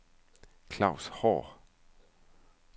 Klaus Haahr